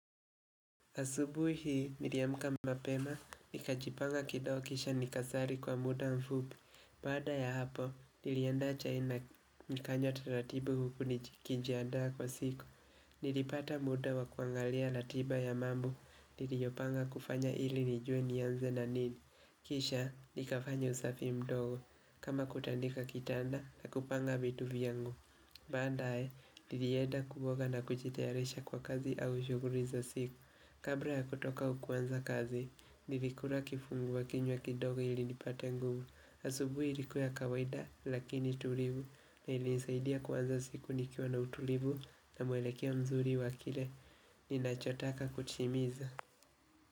Asubui hii, niliamuka mapema, nikajipanga kidogo kisha nikasari kwa muda mfupi. Bada ya hapo, niliandaa chai na nikanywa taratibu huku nikijandaa kwa siku. Nilipata muda wa kuangalia latiba ya mambo, niliyopanga kufanya ili nijue nianze na nini. Kisha, nikafanya usafi mdogo, kama kutandika kitanda na kupanga vitu vyangu. Badaae, nilieda kuoga na kujiitayarisha kwa kazi au shuguri za siku. Kabra ya kutoka au kuanza kazi, nilikura kifunguwa kinywa kidogo ili nipate nguvu. Asubui ilikuwa kawaida lakini tulivu na ilinisaidia kuanza siku nikiwa na utulivu na mwelekeo nzuri wa kile. Ninachotaka kutimiza.